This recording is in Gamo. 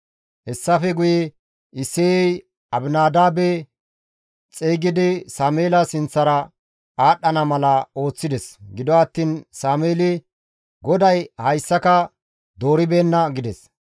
Hessafe guye Isseyey Abinadaabe xeygidi Sameela sinththara aadhdhana mala ooththides; gido attiin Sameeli, «GODAY hayssaka dooribeenna» gides.